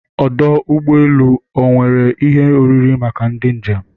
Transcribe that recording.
Ọdụ ụgbọ elu e nwere ihe oriri maka ndị njem?